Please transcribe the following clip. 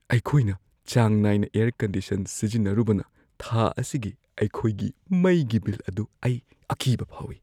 ꯑꯩꯈꯣꯏꯅ ꯆꯥꯡ ꯅꯥꯏꯅ ꯑꯦꯌꯔ-ꯀꯟꯗꯤꯁꯟ ꯁꯤꯖꯤꯟꯅꯔꯨꯕꯅ, ꯊꯥ ꯑꯁꯤꯒꯤ ꯑꯩꯈꯣꯏꯒꯤ ꯃꯩꯒꯤ ꯕꯤꯜ ꯑꯗꯨ ꯑꯩ ꯑꯀꯤꯕ ꯐꯥꯎꯏ꯫